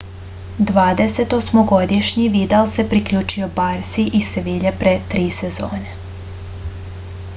dvadesetosmogodišnji vidal se priključio barsi iz sevilje pre tri sezone